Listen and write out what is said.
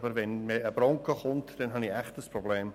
Aber wenn ein Bronco kommt, habe ich echt ein Problem.